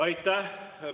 Aitäh!